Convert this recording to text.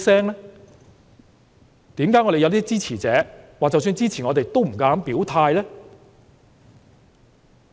為何我們有些支持者即使支持我們，也不敢表態？